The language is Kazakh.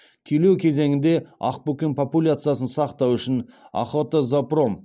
күйлеу кезеңінде ақбөкен популяциясын сақтау үшін охотозоопром